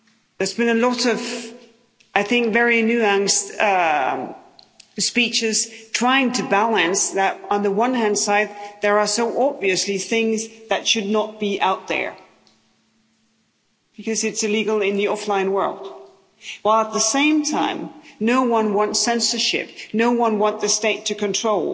There's been a lot of very nuanced speeches, trying to balance that on the one hand, there are so obviously things that should not be out there, because it's illegal in the offline world, while at the same time, no one wants censorship, no one wants the state to control.